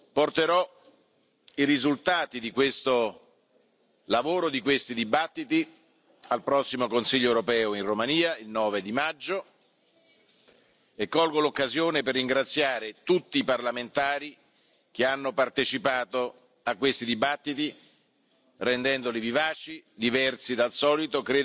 Porterò i risultati di questo lavoro di questi dibattiti al prossimo Consiglio europeo in Romania, il 9 maggio, e colgo l'occasione per ringraziare tutti i parlamentari che hanno partecipato a questi dibattiti, rendendoli vivaci, diversi dal solito.